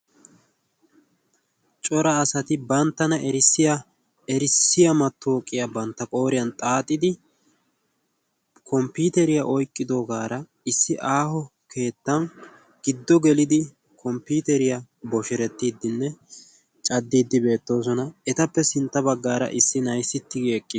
Cora asati banttana erissiya mattawuqiya bantta qooriyan xaaxidi komppiiteriya oyqqidoogaara aaho keettan giddo gelidi komppiiteriya bosherettiiddinne caddiiddi beettoosona. Etappe sintta baggaara issi na"ayi sintta baggaara eqqis.